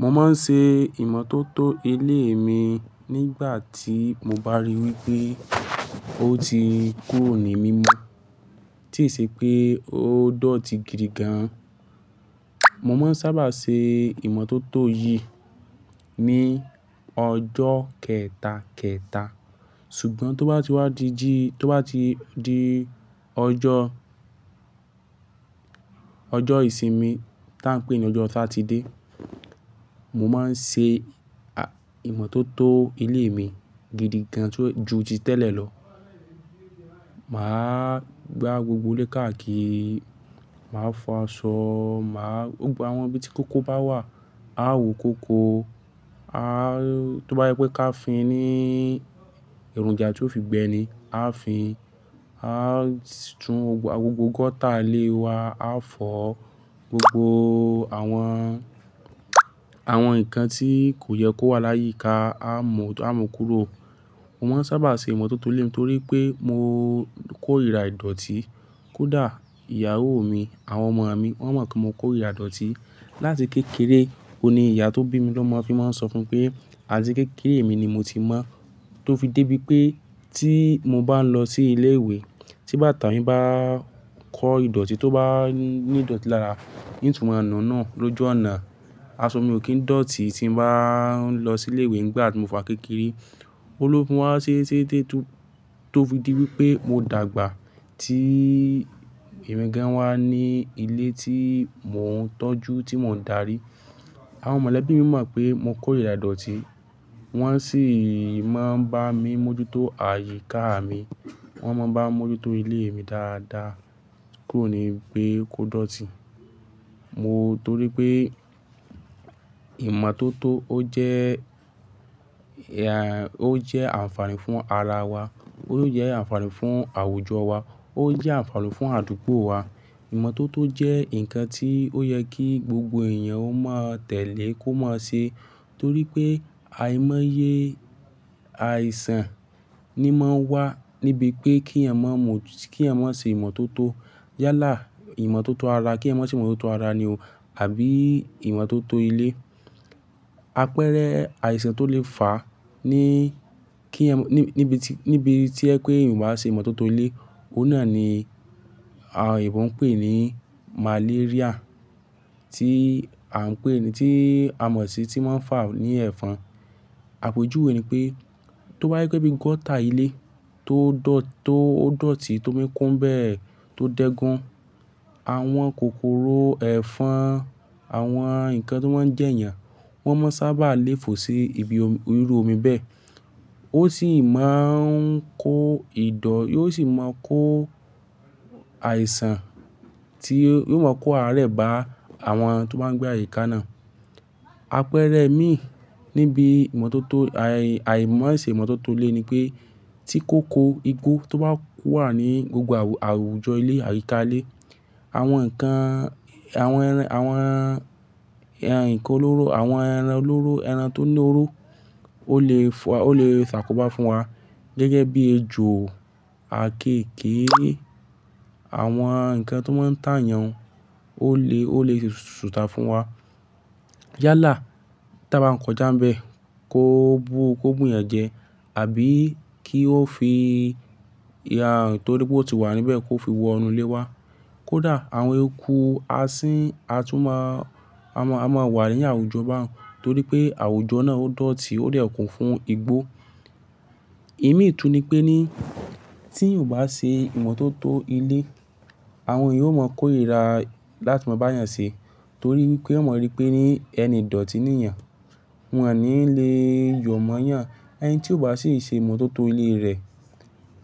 Mo máa ń ṣe ìmọ́tótó ilé mi nígbà tí mo bá rí wípé ó ti kúrò ní mímo, tí ì ṣe pé ó dọ̀tí gidi gan. Mo máa ń sábà ṣe ìmọ́tótó yìí ní ọjọ́ kẹtà, kẹtà. Ṣùgbọ́n tó bá ti wá di, tó bá ti di ọjọ́, ọjọ́ ìsinmi tí à ń pè ní ọjọ́ ọsà Sátidé, mo máa ń ṣe ìmọ́tótó ilé mi gidi gan ju ti tẹ́lẹ̀ lọ. Màá gbá gbogbo ilé káàkiri, màá fọ aṣọ, màá, àwọn ibi tí kókó bá wà, a ó wu kókó. Tó bá sw pé ká fi ní èròjà tí ó fi gbẹni, a fi áa tún gbogbo gọ́tà ilé wa a fọ, gbogbo àwọn, àwọn nǹkan tí kò yẹ kó wà láyíká aa mú kúrò. Mo máa ń sábà ṣe ìmọ́tótó ilé mi torí pé mo kórìrá ìdọ̀tí. Kódà ìyàwó mi, àwọn ọmọ mi wọ́n mọ̀ pé mo kó ìrá ìdọ̀tí. Látì kékeré, òun ni ìyá tó bí mi ló máa ti máa ń sọ fúnmi pé, àti kékeré mi ni mo ti mọ́, tó fi dé bí pé tí mo bá ń lọ sí ilé ìwé, tí bàtà mi bá kọ́ ìdọ̀tí, tó bá ní ìdọ̀tí lára nínú in tun maa nu-un nu lójú àná, aṣọ mi ò kín dọ̀tí tí mo bá ń lọ sí ilé ìwé nígbà tí mo fi wa n kékeré. Óun ló fún wa sése sése tó fi dé pé mo dàgbà tí emi gán wa ní ilé tí mò ń tọ́jú, tí mò ń darí. Àwọn mọ̀lẹ́bí mi mọ̀ pé mo kó ìrá ìdọ̀tí. Wọ́n sì máa ń bá mi mójútó àyíká mi. Wọ́n máa ń bá mi mójútó ilé mi dáadáa kúrò ní bí pe kò dọ̀tí. Mo, torí pé ìmọ́tótó ó jẹ́, ó jẹ́ àǹfààní fún ara wa, ó jẹ́ àǹfààní fún àwùjọ wa, ó jẹ́ àǹfààní fún àdúgbò wa. Ìmọ́tótó jẹ́ nǹkan tí ó yẹ kí gbogbo èèyàn ó máa tẹ̀lé kó máa ṣe torí pé àìmọye, àìsàn ni máa ń wá níbi pé kí èèyàn mọ̀, kí èèyàn ma ṣe ìmọ́tótó. Yálà, ìmọ́tótó ara, kí èèyàn mo ṣe ìmọ́tótó ara ni o àbí ìmọ́tótó ilé. Apẹ́rẹ àìsàn tó lè fà ní kí, níbi tí o je pé èèyàn ò bá ṣe ìmọ́tótó ilé, òun náà ni a, eebi ń pè ní màléríà tí a ń pè ni, tí a mọ̀ sí tí máa ń fà ní ẹ̀fọn. Àpèjúwe ni pé tó bá yí pé bí gọ́tà ilé tó dọ̀tí, tó míkún bẹ́ẹ̀, tó dẹ́gún, àwọn kòkòrò ẹ̀fọn, àwọn nǹkan tí wọ́n jẹ́yàn, wọ́n máa ń sábà lé fò sí ibi iru omi bẹ́ẹ̀. Ó sì máa ń kó ìdọ̀, yóò sì máa kó àìsàn tí yóò máa kó àárẹ̀ bá àwọn tó máa ń gbé àyíká náà. Apẹ́rẹ mi níbi ìmọ́tótó, àìmọ̀, àìṣe ìmọ́tótó ilé ni pé tí kò kó igbó tó bá wà ní gbogbo àwùjọ ilé, àyíká ilé, àwọn nǹkan, àwọn ẹran, àwọn ǹkan olóró, àwọn ẹran olóró, ẹran tó ní oró ó lè fà, ó lè ṣàkóbá fún wa gẹ́gẹ́ bí ejò, àkéékèé, àwọn nǹkan tí wọ́n ń tà yàn ó lè, ó lè sútà fún wa. Yálà tí a bá ń kọjá ńbẹ̀ kó bu, kó bu yàn jẹ àbí kí ó fi, torí pé ó ti wà níbẹ̀ kó fi wọ inú ilé wa. Kódà àwọn eku asín, a tún máa, a máa wà ní àwùjọ bá òun torí pé àwùjọ náà ó dọ̀tí, ó dẹ̀kùn fún igbó. Ìmítú ni pé ní tí èèyàn ò bá ṣe ìmọ́tótó ilé, àwọn èèyàn ó máa kó ìrá láti máa bá èèyàn ṣe torí wípé won mọ̀ rí péní ẹni idọ̀tí ni èèyàn. Wọn ò ní le yọ̀ mọ́ èèyàn. Ẹni tí ò bá sì ṣe ìmọ́tótó ilé rẹ̀,